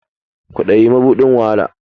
Kwadayi mabuɗin wahala